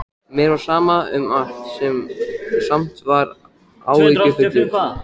Mér var sama um allt, en samt var ég áhyggjufullur.